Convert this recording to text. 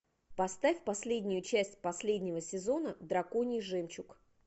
поставь последнюю часть последнего сезона драконий жемчуг